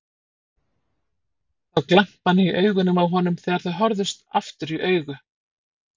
Sá glampann í augunum á honum þegar þau horfðust aftur í augu.